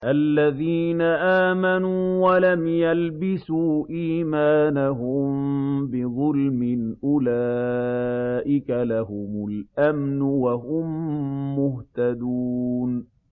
الَّذِينَ آمَنُوا وَلَمْ يَلْبِسُوا إِيمَانَهُم بِظُلْمٍ أُولَٰئِكَ لَهُمُ الْأَمْنُ وَهُم مُّهْتَدُونَ